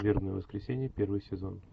вербное воскресенье первый сезон